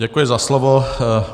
Děkuji za slovo.